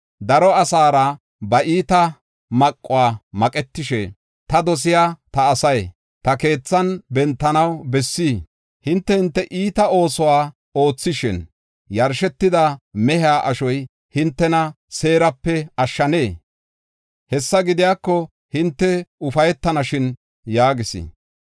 “Daro asaara ba iita maquwa maqetashe, ta dosiya ta asay, ta keethan bentanaw bessii? Hinte hinte iita oosuwa oothishin, yarshetida mehiya ashoy hintena seerape ashshanee? Hessa gidiyako hinte ufaytanashin” yaagis.